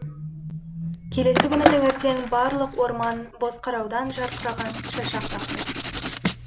келесі күні таңертең барлық орман бозқыраудан жарқыраған шашақ тақты